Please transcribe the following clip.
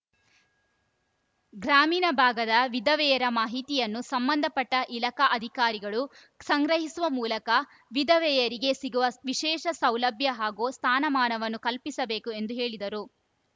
ಗ್ರಾಮೀಣ ಭಾಗದ ವಿಧವೆಯರ ಮಾಹಿತಿಯನ್ನು ಸಂಬಂಧಪಟ್ಟಇಲಖಾ ಆಧಿಕಾರಿಗಳು ಸಂಗ್ರಹಿಸುವ ಮೂಲಕ ವಿಧವೆಯರಿಗೆ ಸಿಗುವ ವಿಶೇಷ ಸೌಲಭ್ಯ ಹಾಗೂ ಸ್ಥಾನಮಾನವನ್ನು ಕಲ್ಪಿಸಬೇಕು ಎಂದು ಹೇಳಿದರು